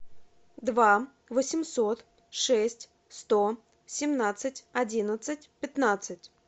два восемьсот шесть сто семнадцать одиннадцать пятнадцать